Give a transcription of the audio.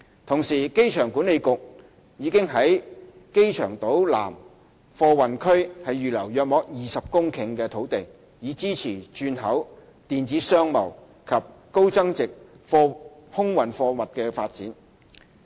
同時，機場管理局已於機場島南貨運區預留約20公頃的土地，以支持轉口、電子商貿及高增值空運貨物的發展。